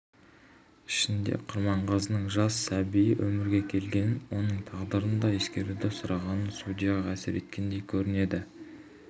ішінде құрманғазының жас сәбиі өмірге келгенін оның тағдырын да ескеруді сұрағаны судьяға әсер еткендей көрінеді